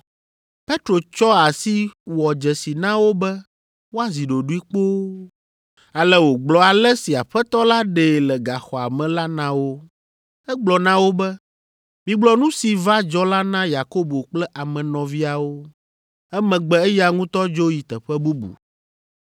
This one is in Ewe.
Petro tsɔ asi wɔ dzesi na wo be woazi ɖoɖoe kpoo, ale wògblɔ ale si Aƒetɔ la ɖee le gaxɔa me la na wo. Egblɔ na wo be, “Migblɔ nu si va dzɔ la na Yakobo kple ame nɔviawo.” Emegbe eya ŋutɔ dzo yi teƒe bubu.